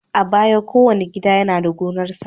A baya, kowane gida yana da gonarsa.